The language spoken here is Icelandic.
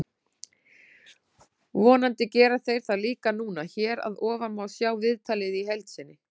Vonandi gera þeir það líka núna. Hér að ofan má sjá viðtalið í heild sinni.